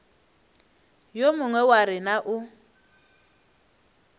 yo mongwe wa rena o